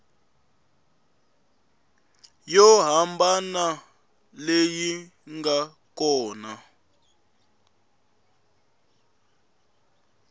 yo hambana leyi nga kona